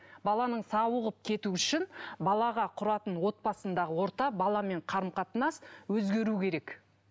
баланың сауығып кетуі үшін балаға құратын отбасындағы орта баламен қарым қатынас өзгеру керек